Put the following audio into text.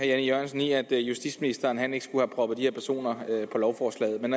jan e jørgensen i at justitsministeren ikke skulle have proppet de her personer på lovforslaget men